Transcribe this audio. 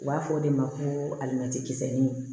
U b'a fɔ o de ma ko alimɛti kisɛ